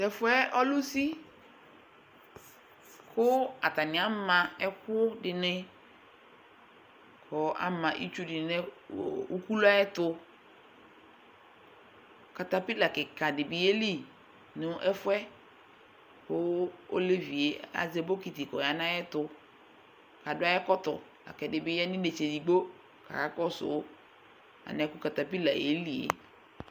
t'ɛfu yɛ ɔlɛ usi kò atani ama ɛkò di ni kò ama itsu di ni no ikulu ayi ɛto katapila keka di bi yeli no ɛfu yɛ kò olevi yɛ azɛ bokiti k'ɔya n'ayi ɛto k'adu ayi ɛkɔtɔ la kò edi bi ya no inetse edigbo k'aka kɔsu anɛ kò katapila yeli yɛ